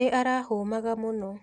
Nĩ arahũmaga mũno.